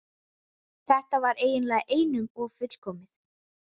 Þetta var eiginlega einum of fullkomið.